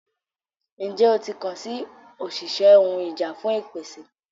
Njẹ o ti kan si oṣiṣẹ ohun ìjà fun ìpèsè?